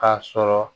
K'a sɔrɔ